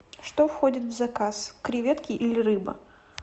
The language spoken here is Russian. что входит в заказ креветки или рыба